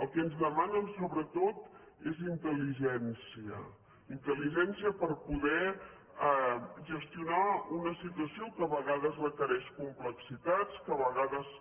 el que ens demanen sobretot és intel·ligència intel·ligència per poder gestionar una situació que a vegades requereix complexitats que a vegades